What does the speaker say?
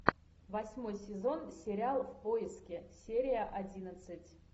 восьмой сезон сериал в поиске серия одиннадцать